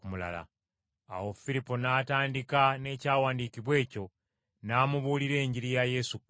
Awo Firipo n’atandika n’Ekyawandiikibwa ekyo n’amubuulira Enjiri ya Yesu Kristo.